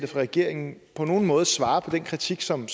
regeringen på nogen måde svarer på den kritik som